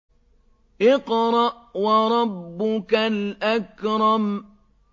اقْرَأْ وَرَبُّكَ الْأَكْرَمُ